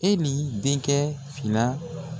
E n'i denkɛ fila